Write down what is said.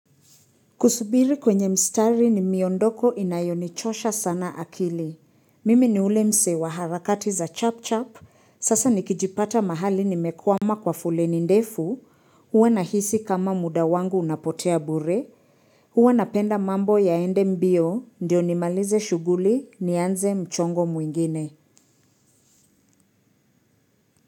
Kusubiri kwenye mstari ni miondoko inayonichosha sana akili, mimi ni ule mse wa harakati za chap chap, sasa nikijipata mahali nimekwama kwa fuleni ndefu, huwa nahisi kama muda wangu unapotea bure, huwa napenda mambo ya ende mbio, ndio nimalize shuguli, nianze mchongo muingine.